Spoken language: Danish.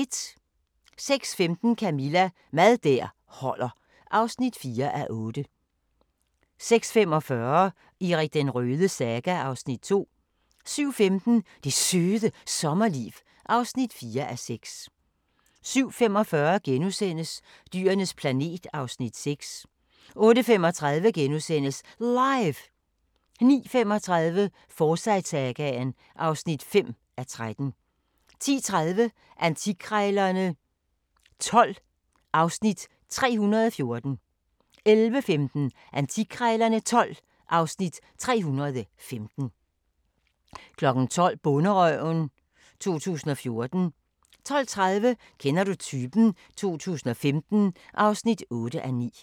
06:15: Camilla – Mad der holder (4:8) 06:45: Erik den Rødes saga (Afs. 2) 07:15: Det Søde Sommerliv (4:6) 07:45: Dyrenes planet (Afs. 6)* 08:35: LIVE! * 09:35: Forsyte-sagaen (5:13) 10:30: Antikkrejlerne XII (Afs. 314) 11:15: Antikkrejlerne XII (Afs. 315) 12:00: Bonderøven 2014 12:30: Kender du typen? 2015 (8:9)